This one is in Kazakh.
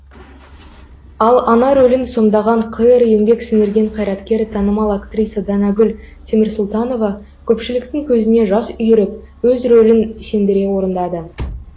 ал ана рөлін сомдаған қр еңбек сіңірген қайраткері танымал актриса данагүл темірсұлтанова көпшіліктің көзіне жас үйіріп өз рөлін сендіре орындады